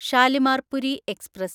Shalimar Puri express